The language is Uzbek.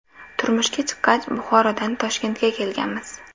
Turmushga chiqqach Buxorodan Toshkentga kelganmiz.